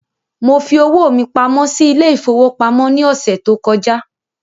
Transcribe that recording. Mo fi owó mí pamọ́ sí ile-ìfowópamó ní ọsẹ tó kọjá